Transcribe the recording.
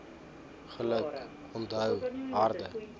geluk onthou harde